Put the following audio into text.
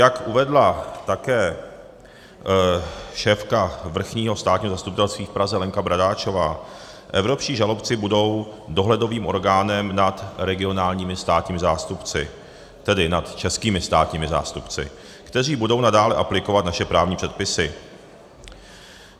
Jak uvedla také šéfka Vrchního státního zastupitelství v Praze Lenka Bradáčová, evropští žalobci budou dohledovým orgánem nad regionálními státními zástupci, tedy nad českými státními zástupci, kteří budou nadále aplikovat naše právní předpisy.